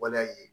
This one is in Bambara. Waleya ye